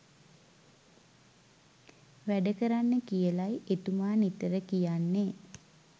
වැඩ කරන්න කියලයි එතුමා නිතර කියන්නේ.